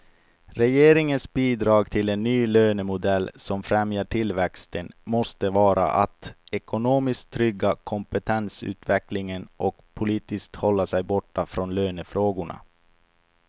Regeringens bidrag till en ny lönemodell som främjar tillväxten måste vara att ekonomiskt trygga kompetensutvecklingen och politiskt hålla sig borta från lönefrågorna.